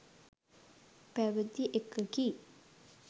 පැවති එකකි.